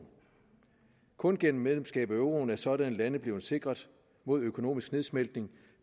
kun gennem medlemskab af euroen er sådanne lande blevet sikret mod en økonomisk nedsmeltning